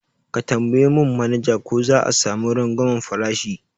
Ka tambaya mun manaja ko za'a sami rangwamen farashi